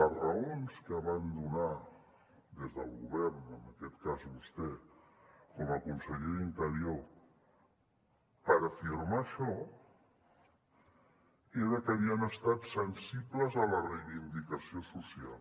les raons que van donar des del govern en aquest cas vostè com a conseller d’interior per afirmar això eren que havien estat sensibles a la reivindicació social